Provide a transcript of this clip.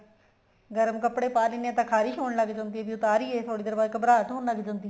ਗਰਮ ਕੱਪੜੇ ਪਾ ਲੈਂਦੇ ਹਾਂ ਤਾਂ ਖਾਰਿਸ਼ ਹੋਣ ਲੱਗ ਜਾਂਦੀ ਹੈ ਵੀ ਉਤਾਰੀਏ ਤਾਂ ਥੋੜੀ ਦੇਰ ਬਾਅਦ ਘਬਰਾਹਟ ਹੋਣ ਲੱਗ ਜਾਂਦੀ ਹੈ